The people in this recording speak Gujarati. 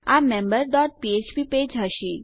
આ મેમ્બર ડોટ ફ્ફ્પ પેજ હશે